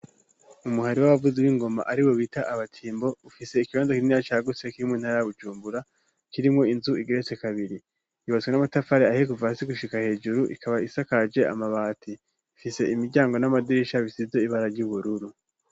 Umuhari w'abavuze b'ingoma ari bo bita abatimbo ufise ikibondoki nira ca guse kimwe ntaragujumbura kirimwo inzu igeretse kabiri yubatswe n'amatafari aheguva asi gushika hejuru ikaba isakaje amabati ifise imiryango n'amadirisha bisize ibara ry'ubururu.